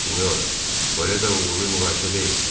Senyora, bu elə də uğurlu müqayisə deyil.